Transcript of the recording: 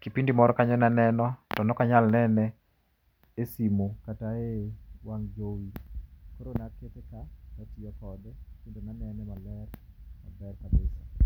Kipindin[5cs] moro kanyo ne aneno, to ne ok anyal nene e simu kata e wang' jowi. Koro nakete ka katiyo kode, kanene maler, maler kabisa